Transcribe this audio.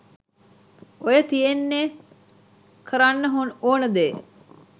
ඔය තියෙන්නේ කරන්න ඕන දේ